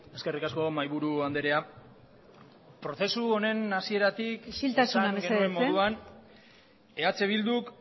eskerrik asko mahaiburu andrea prozesu honen hasieratik isiltasuna mesedez esan genuen moduan eh bilduk